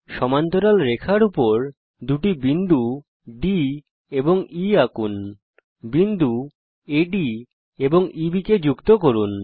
সমান্তরাল রেখার উপর দুটি বিন্দু D এবং E আঁকুন বিন্দু আদ এবং EB কে যুক্ত করুন